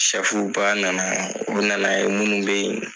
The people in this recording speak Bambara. Sɛfuba nana yan. U nana ye minnu be y